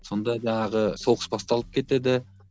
сонда жаңағы соғыс басталып кетеді